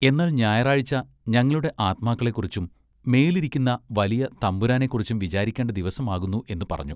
എന്നാൽ ഞായറാഴ്ച ഞങ്ങളുടെ ആത്മാക്കളെക്കുറിച്ചും മേലിരിക്കുന്ന വലിയ തമ്പുരാനെ കുറിച്ചും വിചാരിക്കേണ്ട ദിവസമാകുന്നു എന്നു പറഞ്ഞു.